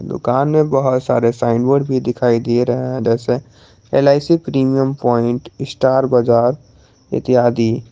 दुकान में बहुत सारे साइन बोर्ड भी दिखाई दे रहा है जैसे L I C premium point star bazaar इत्यादि।